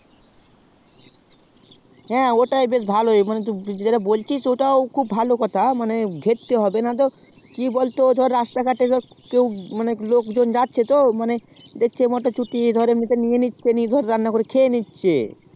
হ্যাঁ ওটাই খুব ভালো টু জেলা বলছিস সেটা খুব ভালো কথা মানে ঘেরটা হবে নাতো কি বলতো রাস্তা ঘটে মানে লোক জন যাচ্ছে তো দেখছে মোটর ছুটি এমন তে নিয়ে নিচ্ছে